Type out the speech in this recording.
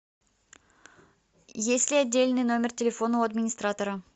есть ли отдельный номер телефона у администратора